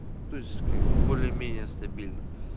то есть как бы более-менее стабильно